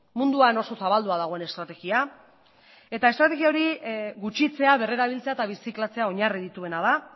munduan oso zabaldua dagoen estrategia eta estrategia hori gutxitzea berrerabiltzea eta birziklatzea oinarri dituena da